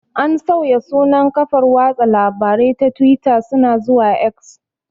An sauya sunan kafar watsa labarai ta tuwita suna zuwa 'X'